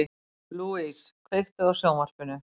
Louise, kveiktu á sjónvarpinu.